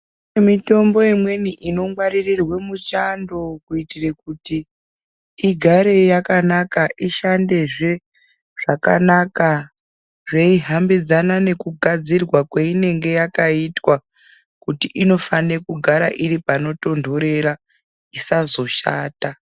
Kune mitombo imweni inongwaririrwe muchando kuitire kuti ,igare yakanaka, ishandezve zvakanaka, zveihambidzana nekugadzirwa kweinenge yakaitwa, kuti inofane kugara iri panotontorera, isazoshata.